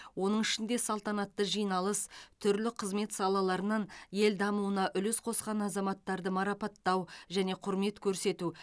оның ішінде салтанатты жиналыс түрлі қызмет салаларынан ел дамуына үлес қосқан азаматтарды марапаттау және құрмет көрсету